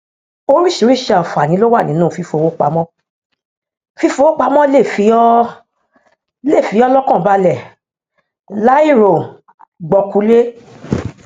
oríṣiríṣi àǹfààní ló wà nínú fífowópamọ fífowópamọ lè fi ọ lè fi ọ lọkàn balẹ láìrògbọkúlé